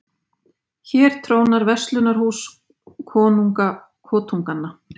Hér trónar verslunarhús, konunga kotunganna.